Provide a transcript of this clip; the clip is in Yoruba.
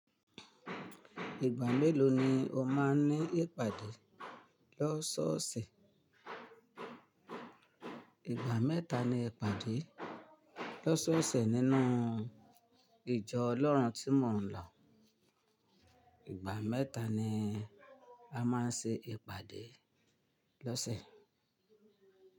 Ìgbà mélòó ni o máa ń ní ìpàdé lọ́sọ́ọ̀sẹ̀? Ìgbà mẹ́ta ni ìpàdé lọ́sọ́ọ̀sẹ̀ nínú ìjọ Ọlọ́run tí mò ń lọ. Ìgbà mẹ́ta ni a máa ń ṣe ìpàdé lọ́sẹ̀.